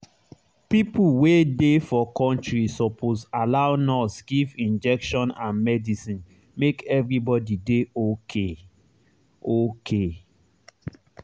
people wey dey for country suppose allow nurse give injection and medicine make everybody dey okay. okay.